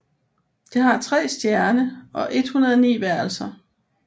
Det har tre stjerne og 109 værelser